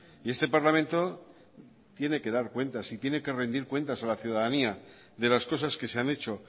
y este parlamento tiene que dar cuentas y tiene que rendir cuentas a la ciudadanía de las cosas que se han hecho